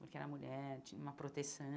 Porque era mulher, tinha uma proteção